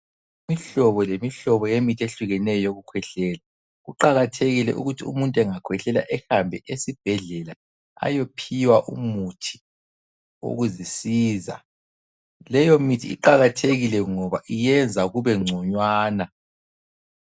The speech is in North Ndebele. Imihlobo lemihlobo yemithi ehlukeneyo yokukhwehlela. Kuqakathekile ukuthi umuntu engakhwehlela ehambe esibhedlela ayophiwa umuthi okuzisiza. Leyomithi iqalathekile ngoba iyenza kube ngconywana.